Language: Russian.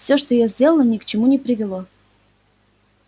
всё что я сделала ни к чему не привело